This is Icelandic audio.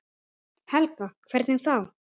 Helga: Hvernig þá?